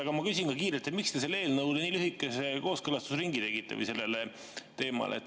Aga ma küsin kiirelt: miks te selle eelnõu puhul nii lühikese kooskõlastusringi tegite, või selle teema puhul?